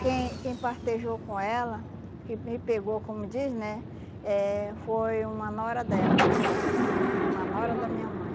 Quem quem partejou com ela, que me pegou, como diz, né, eh foi uma nora dela, é, uma nora da minha mãe.